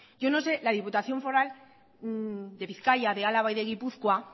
yo no sé la diputación foral de bizkaia de álava y de gipuzkoa